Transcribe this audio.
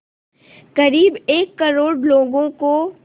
क़रीब एक करोड़ लोगों को